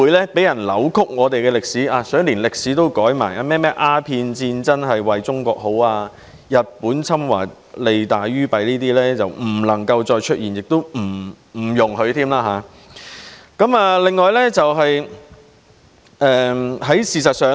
有些人連歷史也想篡改，說甚麼鴉片戰爭是為中國好，日本侵華利大於弊等，這些情況都不容許再出現。